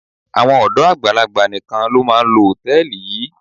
Àwọn ọ̀dọ́ àgbàlagbà nìkan ló máa ń lo hòtẹ́ẹ̀lì yìí.